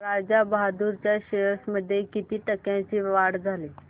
राजा बहादूर च्या शेअर्स मध्ये किती टक्क्यांची वाढ झाली